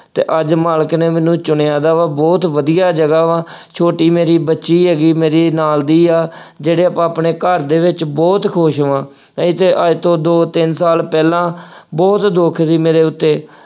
ਅਤੇ ਅੱਜ ਮਾਲਕ ਨੇ ਮੈਨੂੰ ਚੁਣਿਆ ਦਾ ਵਾ, ਬਹੁ ਵਧੀਆਂ ਜਗ੍ਹਾ ਵਾ, ਛੋਟੀ ਮੇਰੀ ਬੱਚੀ ਹੈਗੀ, ਮੇਰੇ ਨਾਲ ਦੀ ਆ, ਜਿਹੜੇ ਆਪਾਂ ਆਪਣੇ ਘਰ ਦੇ ਵਿੱਚ ਬਹੁਤ ਖੁਸ਼ ਵਾਂ, ਇਹ ਚ ਅੱਜ ਤੋਂ ਦੋ- ਤਿੰਨ ਸਾਲ ਪਹਿਲਾਂ ਬਹੁਤ ਦੁੱਖ ਸੀ ਮੇਰੇ ਉੱਤੇ।